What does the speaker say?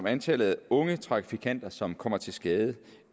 antallet af unge trafikanter som kommer til skade